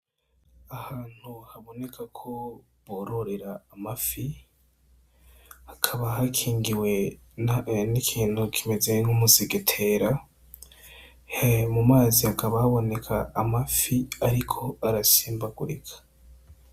Ahantu haboneka ko bororera amafi, hakaba hakingiwe n'ikintu kimeze nk'umusegetera, mu mazi hakaba haboneka amafi ariko arasimbagurika.